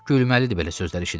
Gülməlidir belə sözlər eşitmək.